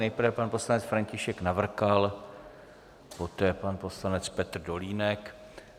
Nejprve pan poslanec František Navrkal, poté pan poslanec Petr Dolínek.